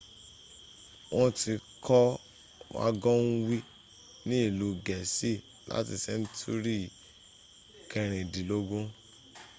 wọ́n tí kọ́ wágọ́nwè ní ìlu gẹ̀ẹ́sì láti sẹ́ntúrí 16th